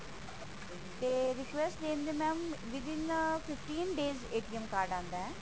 ਤੇ request ਦੇਣ ਦੇ mam within fifteen days card ਆਂਦਾ ਹੈ